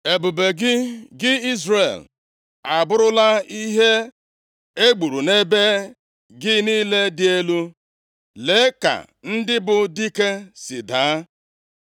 “Ebube gị, gị Izrel, abụrụla ihe e gburu nʼebe gị niile dị elu. Lee ka ndị bụ dike si daa!